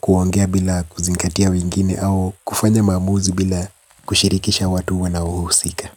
Kuongea bila kuzingatia wengine au kufanya maamuzi bila kushirikisha watu wanaohusika.